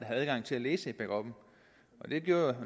havde adgang til at læse backuppen det gjorde